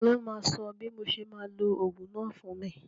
Ta ló máa sọ bí mo ṣe máa lo ogún náà fún mi?